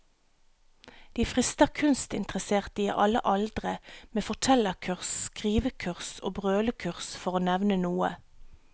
De frister kunstinteresserte i alle aldre med fortellerkurs, skrivekurs og brølekurs, for å nevne noe.